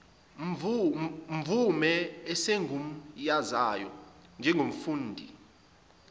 mvume esimgunyazayo njengomfundi